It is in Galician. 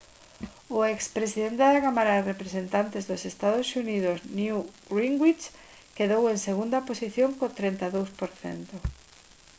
o expresidente da cámara de representantes dos ee. uu. newt gingrich quedou en segunda posición co 32 %